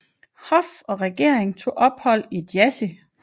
Hof og regering tog ophold i Jassy